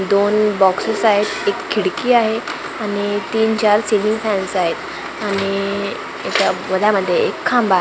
दोन बॉक्सेस आहेत एक खिडकी आहे आणि तीन चार सीलिंग फॅन्स आहेत आणि याच्या मध्ये एक खांब आ--